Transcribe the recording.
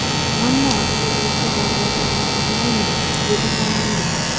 Ammo aktyorlikka da’vogarlik qilmayman”, dedi xonanda.